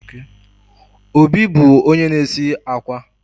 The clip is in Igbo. Obi bụ onye na-esi